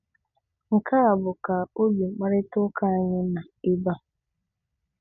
Nke a bụ ka obi mkparịta ụka anyị na ebe a.